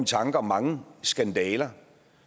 tanker om mange skandaler